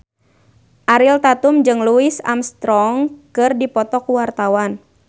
Ariel Tatum jeung Louis Armstrong keur dipoto ku wartawan